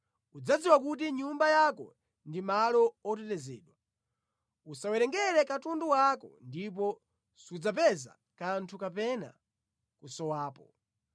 Udzadziwa kuti nyumba yako ndi malo otetezedwa; udzawerengera katundu wako ndipo sudzapeza kanthu kamene kasowapo.